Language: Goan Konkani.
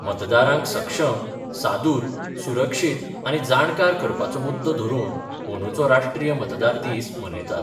मतदारांक सक्षम, सादूर, सुरक्षीत आनी जाणकार करपाचो मुद्दो धरून अंदूचो राष्ट्रीय मतदार दीस मनयतात.